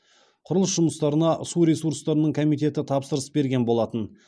құрылыс жұмыстарына су ресурстарының комитеті тапсырыс берген болатын